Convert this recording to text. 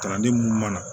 Kalanden mun mana